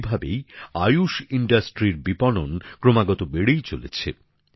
এভাবেই আয়ুস শিল্পের বিপণন ক্রমাগত বেড়েই চলেছে